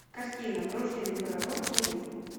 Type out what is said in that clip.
картина врожденный пророк найди